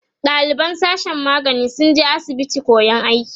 ɗaliban sashen magani sun je asibitin koyan aiki